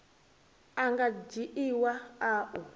a nga dzhiiwa a u